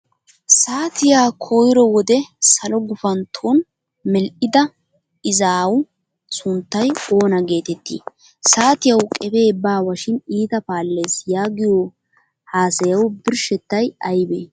Saatiyaa koyro wode salo gufantton medhdhida izaawu sunttay oona geetettii? "Saatiyawu qefee baawa shin iita paallees" yaagiyo haasayawu birshshettay aybee?